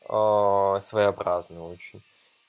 а своеобразное очень